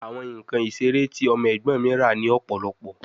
Awọn nkan isere ti ọmọ ẹgbọn mi ra ni ọpọlọpọ